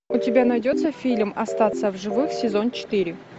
у тебя найдется фильм остаться в живых сезон четыре